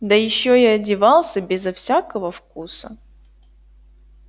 да ещё и одевался безо всякого вкуса